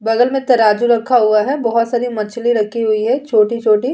बगल में तराजू रखा हुआ है बहुत सारी मछली रखी हुई है छोटी-छोटी।